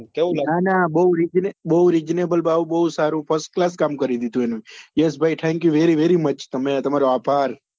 ના ના બહુ reasonable ભાવ અને બહુ first class કામ કરી દીધું એને યશભાઈ thank you very very much તમને તમારો આભાર